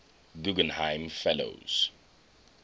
guggenheim fellows